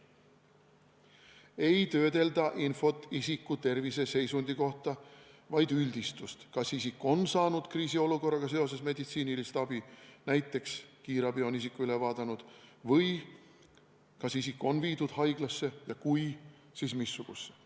Ei töödelda infot isiku terviseseisundi kohta, vaid tehakse üldistus, näiteks, kas isik on saanud kriisiolukorraga seoses meditsiinilist abi, kas kiirabi on isiku üle vaadanud või kas isik on viidud haiglasse ja kui, siis missugusesse.